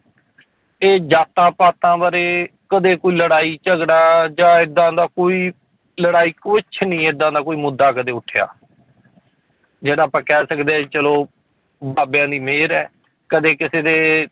ਇਹ ਜਾਤਾਂ ਪਾਤਾਂ ਬਾਰੇ ਕਦੇ ਕੋਈ ਲੜਾਈ ਝਗੜਾ ਜਾਂ ਏਦਾਂ ਦਾ ਕੋਈ ਲੜਾਈ ਕੁਛ ਨੀ ਏਦਾਂ ਦਾ ਕੋਈ ਮੁੱਦਾ ਕਦੇ ਉੱਠਿਆ ਜਿਹੜਾ ਆਪਾਂ ਕਹਿ ਸਕਦੇ ਹਾਂ ਚਲੋ ਬਾਬਿਆਂ ਦੀ ਮਿਹਰ ਹੈ ਕਦੇ ਕਿਸੇ ਦੇ